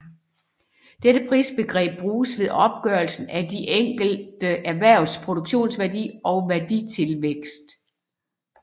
Dette prisbegreb bruges ved opgørelsen af de enkelte erhvervs produktionsværdi og værditilvækst